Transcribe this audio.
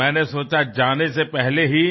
તો મેં વિચાર્યું કે પહેલાં જ